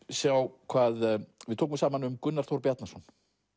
sjá hvað við tókum saman um Gunnar Þór Bjarnason